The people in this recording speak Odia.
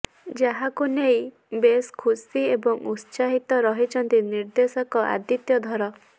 ଯାହାକୁ ନେଇ ବେଶ୍ ଖୁସି ଏବଂ ଉତ୍ସାହିତ ରହିଛନ୍ତି ନିର୍ଦ୍ଦେଶକ ଆଦିତ୍ୟ ଧର